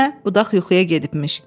Demə budaq yuxuya gedibmiş.